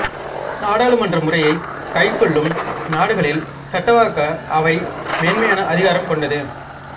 நாடாளுமன்ற முறையைக் கைக்கொள்ளும் நாடுகளில் சட்டவாக்க அவை மேன்மையான அதிகாரம் கொண்டது